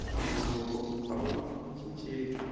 ntumbuluko awu cincenki